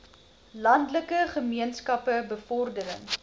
landelike gemeenskappe bevordering